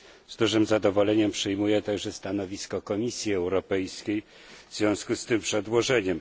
Z dużym zadowoleniem przyjmuję także stanowisko Komisji Europejskiej w związku z tym przedłożeniem.